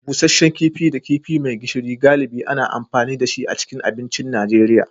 Busasshen kifi da kifi mai gishiri, galibi ana amfani da shi a cikin abincin Najeriya.